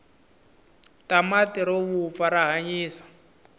tamatirovuzfa rahhanyisa